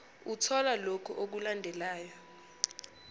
uthola lokhu okulandelayo